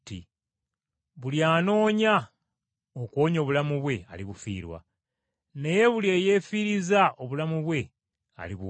Buli anoonya okuwonya obulamu bwe alibufiirwa, naye buli eyeefiiriza obulamu bwe alibuwonya.